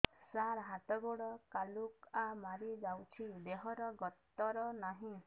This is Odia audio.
ସାର ହାତ ଗୋଡ଼ କାଲୁଆ ମାରି ଯାଉଛି ଦେହର ଗତର ନାହିଁ